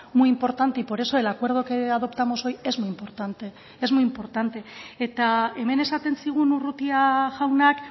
muy importante y por eso el acuerdo que adoptamos hoy es muy importante es muy importante eta hemen esaten zigun urrutia jaunak